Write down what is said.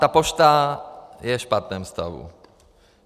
Ta pošta je v špatném stavu.